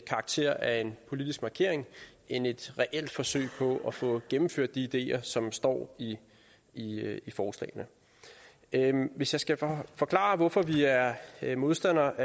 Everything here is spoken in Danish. karakter af en politisk markering end et reelt forsøg på at få gennemført de ideer som står i forslagene hvis jeg skal forklare hvorfor vi er er modstandere